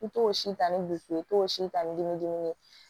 I t'o si ta ni bu ye i t'o si ta ni dimi dimi ye